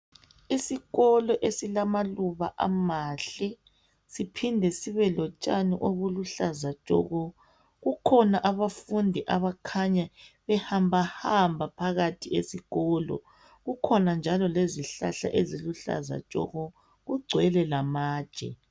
Isikolo esilamaluba amahle siphinde sibelotshani obuluhlaza tshoko kukhona abafundi abakhanya behambahamba phakathi esikolo kukhona njalo lezihlahla eziluhlaza tshoko kugcwele lamatshe.